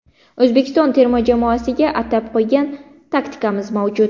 O‘zbekiston terma jamoasiga atab qo‘ygan taktikamiz mavjud.